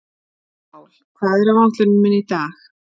Sál, hvað er á áætluninni minni í dag?